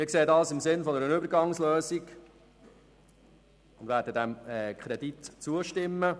Wir sehen das im Sinn einer Übergangslösung und werden dem Kredit zustimmen.